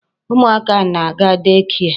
Ụmụ aka na-aga day care.